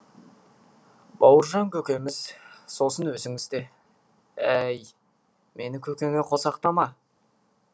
бауыржан көкеміз сосын өзіңіз де әй мені көкеңе қосақтама